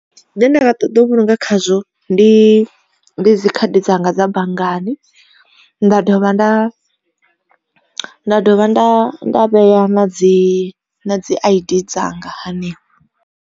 Zwine nda nga ṱoḓa u vhulunga khazwo ndi ndi dzikhadi dzanga dza banngani. Nda dovha nda nda dovha nda nda vhea na dzi dzi I_D dzanga hanefho.